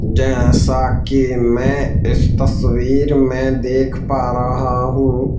जैसा कि मैं इस तस्वीर में देख पा रहा हूं।